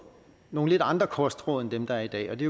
nogle lidt andre kostråd end dem der er i dag og det